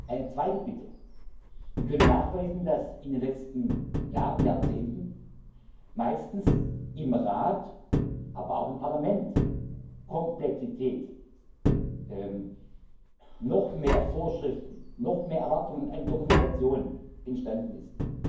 Eine zweite Bitte Wir können nachweisen, dass in den letzten Jahren und Jahrzehnten meistens im Rat, aber auch im Parlament Komplexität noch mehr Vorschriften, noch mehr Erwartungen an Dokumentation entstanden ist.